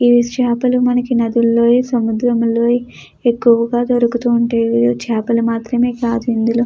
ఈ చాపల నదుల్లోని మనకు సముద్రంలోని ఎక్కువగా దొరుకుతూ ఉంటాయి చేపలు అందులో--